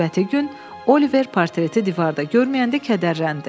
Növbəti gün Oliver portreti divarda görməyəndə kədərləndi.